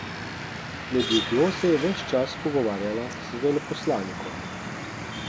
Med jedjo se je ves čas pogovarjala z veleposlanikom.